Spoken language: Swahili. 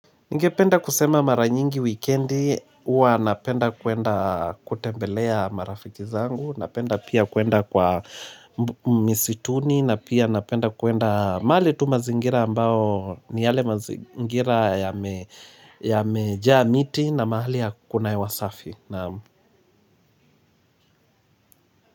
Ningependa kusema maranyingi weekendi, ua napenda kuenda kutembelea marafiki zangu, napenda pia kuenda kwa misituni, napia napenda kuenda mahali tu mazingira ambao ni yale mazingira ya mejaa miti na mahali hakuna hewa wasafi.